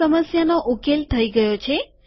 આ સમસ્યાનો ઉકેલ થઇ ગયો છે